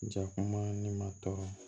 Jakuma ni ma tɔɔrɔ